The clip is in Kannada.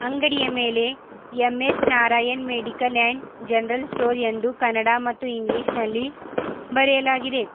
ಅಂಗಡಿಯ ಮೇಲೆ M S Narayan medical and general store ಎಂದು ಕನ್ನಡ ಮತ್ತು ಇಂಗ್ಲಿಷ್ ನಲ್ಲಿ ಬರೆಯಲಾಗಿದೆ.